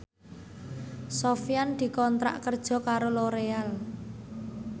Sofyan dikontrak kerja karo Loreal